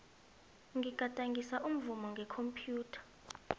ngigadangisa umvumo ngekhomphyutha